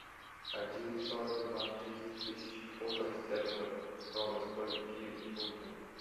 один сорок два триста тысяч фунтов стерлингов равно скольки фунтам